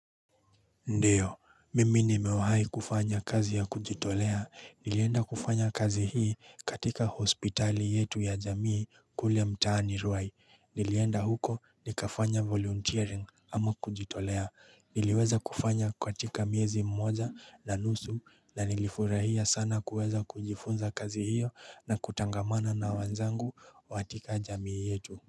Ndio mimi nimewahi kufanya kazi ya kujitolea. Nilienda kufanya kazi hii katika hospitali yetu ya jamii kule mtaani Ruai. Nilienda huko nikafanya volunteering ama kujitolea niliweza kufanya katika miezi mmoja na nusu na nilifurahia sana kuweza kujifunza kazi hiyo na kutangamana na wenzangu katika jamii yetu.